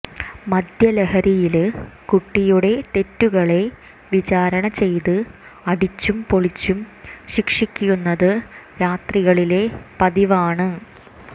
മദ്യലഹരിയില് കുട്ടിയുടെ തെറ്റുകളെ വിചാരണചെയ്ത് അടിച്ചും പൊള്ളിച്ചും ശിക്ഷിക്കുന്നത് രാത്രികളിലെ പതിവാണ്